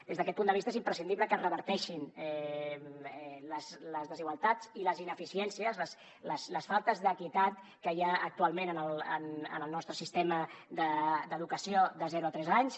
des d’aquest punt de vista és imprescindible que es reverteixin les desigualtats i les ineficiències les faltes d’equitat que hi ha actualment en el nostre sistema d’educació de zero a tres anys